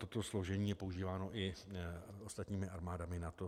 Toto složení je používáno i ostatními armádami NATO.